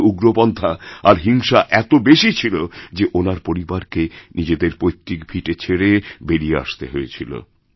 ওখানেউগ্রপন্থা আর হিংসা এত বেশি ছিল যে ওনার পরিবারকে নিজেদের পৈতৃক ভিটে ছেড়ে বেরিয়েআসতে হয়েছিল